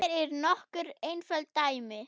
Hér eru nokkur einföld dæmi